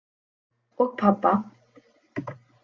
Og pabba!